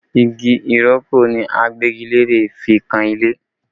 Igi ìrókò ni Agbẹ́gilére fi kan ilé